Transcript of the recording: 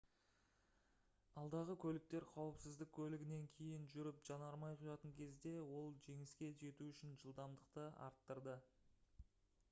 алдағы көліктер қауіпсіздік көлігінен кейін жүріп жанармай құятын кезде ол жеңіске жету үшін жылдамдықты арттырды